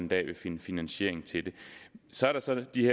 vil finde finansiering til det så er der så de